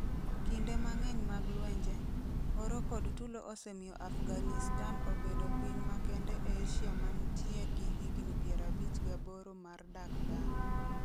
kinde mang'eny mag lwenje, oro kod tulo osemiyo Afghanistan obedo piny makende e Asia mantie gi higni 58 mar dak dhano.